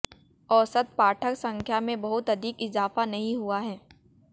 औसत पाठक संख्या में बहुत अधिक इजाफा नहीं हुआ है